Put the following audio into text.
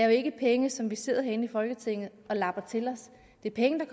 jo ikke er penge som vi sidder herinde i folketinget og labber til os det er penge